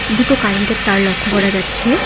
দুটো কারেন্টের তার লক্ষ্য করা যাচ্ছে।